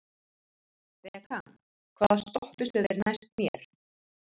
Bekan, hvaða stoppistöð er næst mér?